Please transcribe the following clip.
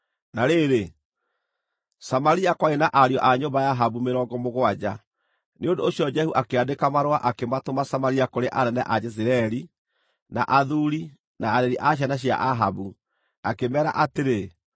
Na rĩrĩ, Samaria kwarĩ na ariũ a nyũmba ya Ahabu mĩrongo mũgwanja. Nĩ ũndũ ũcio Jehu akĩandĩka marũa akĩmatũma Samaria kũrĩ anene a Jezireeli, na athuuri, na areri a ciana cia Ahabu, akĩmeera atĩrĩ,